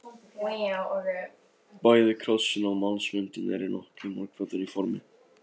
Bæði krossinn og mannsmyndin eru nokkuð margbrotin í formi.